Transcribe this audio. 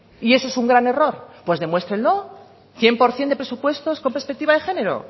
y eso es un gran error pues demuéstrenlo cien por ciento de presupuestos con perspectiva de género